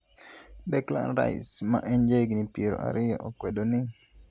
Declan Rice, ma en jahigni piero ariyo, okwedo ni